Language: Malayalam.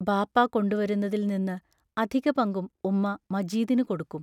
ബാപ്പാ കൊണ്ടുവരുന്നതിൽ നിന്ന് അധികപങ്കും ഉമ്മാ മജീദിനു കൊടുക്കും.